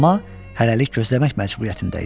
Amma hələlik gözləmək məcburiyyətində idi.